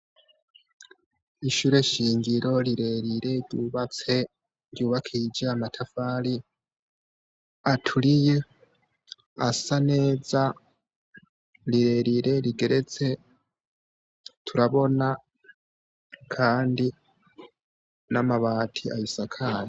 Ishure shingiro rirerire ryubatse, ryubakishije y'amatafari aturiye, asa neza, rirerire rigeretse, turabona kandi n'amabati ayisakaye.